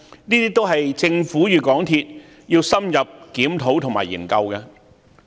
這些都是政府與港鐵公司需要深入檢討和研究的問題。